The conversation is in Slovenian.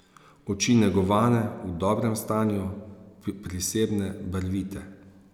Oči negovane, v dobrem stanju, prisebne, barvite.